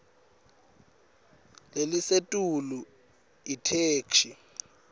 lelisetulu itheksthi